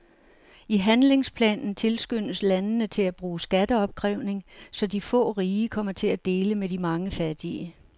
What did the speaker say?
I handlingsplanen tilskyndes landene til at bruge skatteopkrævning, så de få rige kommer til at dele med de mange fattige.